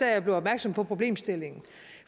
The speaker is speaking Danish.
jeg blev opmærksom på problemstillingen